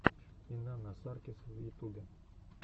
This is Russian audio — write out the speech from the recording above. инанна саркис в ютубе